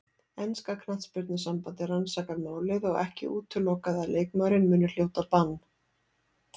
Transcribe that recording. Enska knattspyrnusambandið rannsakar málið og ekki útilokað að leikmaðurinn muni hljóta bann.